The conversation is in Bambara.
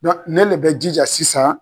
Dɔn ne le bɛ jija sisan